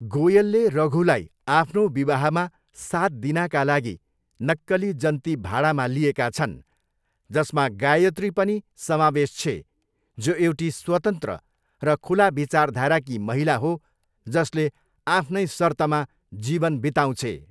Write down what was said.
गोयलले रघुलाई आफ्नो विवाहमा साथ दिनाका लागि नक्कली जन्ती भाडामा लिएका छन् जसमा गायत्री पनि समावेश छे जो एउटी स्वतन्त्र र खुला विचारधाराकी महिला हो जसले आफ्नै सर्तमा जीवन बिताउँछे।